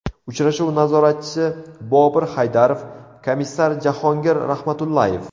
Uchrashuv nazoratchisi Bobur Haydarov, komissar Jahongir Rahmatullayev.